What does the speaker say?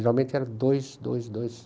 Geralmente eram dois, dois, dois.